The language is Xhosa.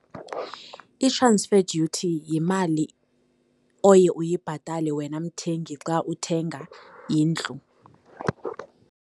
I-transfer duty yimali oye uyibhatale wena mthengi xa uthenga indlu.